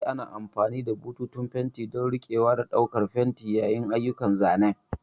Eh, ana amfani da bututun fenti don riƙewa da ɗaukar fenti yayin ayyukan zanen.